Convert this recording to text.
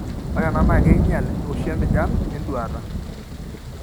Ore ena naa keinyial oshi empijan enduata.